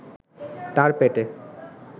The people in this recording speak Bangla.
তার পেটে